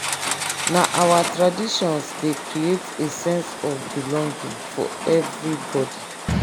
na our traditions dey create a sense of belonging for everybody.